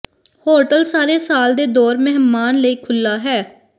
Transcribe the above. hotel ਸਾਰੇ ਸਾਲ ਦੇ ਦੌਰ ਮਹਿਮਾਨ ਲਈ ਖੁੱਲ੍ਹਾ ਹੈ